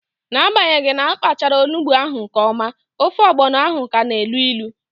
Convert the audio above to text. N'agbanyeghi na apachara onugbu ahụ nke ọma, ofe ọgbọno ahụ ka na elu ilu